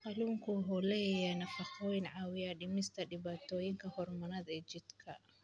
Kalluunku waxa uu leeyahay nafaqooyin caawiya dhimista dhibaatooyinka hormoonnada ee jidhka.